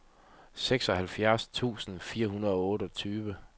seksoghalvfjerds tusind fire hundrede og otteogtyve